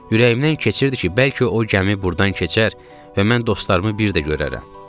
Ürəyimdən keçirdi ki, bəlkə o gəmi burdan keçər və mən dostlarımı bir də görərəm.